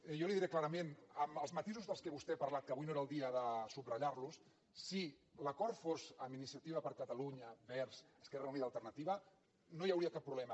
jo li ho diré clarament amb els matisos de què vostè ha parlat que avui no era el dia de subratllar los si l’acord fos amb iniciativa per catalunya verds esquerra unida i alternativa no hi hauria cap problema